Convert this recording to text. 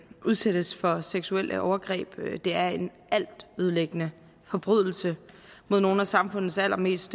udsættes for seksuelle overgreb det er en altødelæggende forbrydelse mod nogle af samfundets allermest